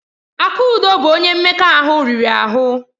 Akudo bụ onye mmekọahụ riri ahụ.